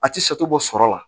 A ti bɔ sɔrɔ la